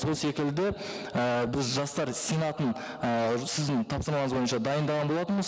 сол секілді і біз жастар сенатын і сіздің тапсырмаларыңыз бойынша дайындаған болатынбыз